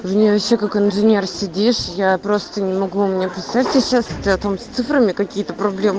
я вообще как инженер сидишь я просто не могу написать сейчас с цифрами какие-то проблемы